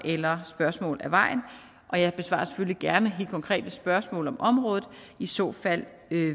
og af vejen jeg besvarer selvfølgelig gerne helt konkrete spørgsmål om området i så fald